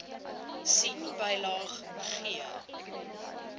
sien bylaag g